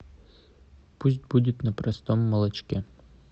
пусть будет на простом молочке